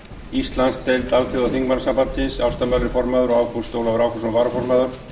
íslandsdeild alþjóðaþingmannasambandsins ásta möller formaður og ágúst ólafur ágústsson varaformaður